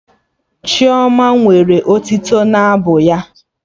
Chioma nwere otito n'abụ ya